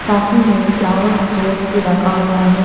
साथ ही में फ्लावर पॉट्स भी रखा हुआ है।